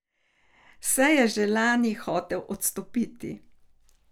Saj je že lani hotel odstopiti.